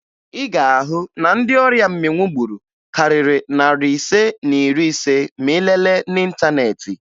Ị ga-ahụ na ndị ọrịa mmịnwụ gburu karịrị narị ise na iri ise ma ị lelee n'ịntaneetị